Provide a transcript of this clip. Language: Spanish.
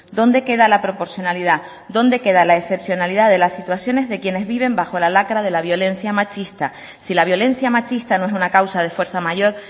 dónde queda la proporcionalidad dónde queda la excepcionalidad de las situaciones de quienes viven bajo la lacra de la violencia machista si la violencia machista no es una causa de fuerza mayor